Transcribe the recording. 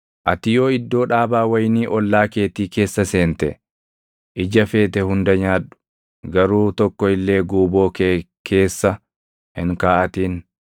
Ati yoo iddoo dhaabaa wayinii ollaa keetii keessa seente, ija feete hunda nyaadhu; garuu tokko illee guuboo kee keessa hin kaaʼatin.